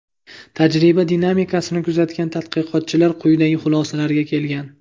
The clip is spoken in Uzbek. Tajriba dinamikasini kuzatgan tadqiqotchilar quyidagi xulosalarga kelgan.